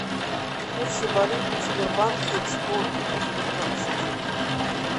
курсы валют в сбербанке сто девятнадцать